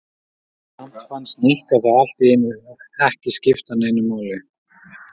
Samt fannst Nikka það allt í einu ekki skipta neinu máli.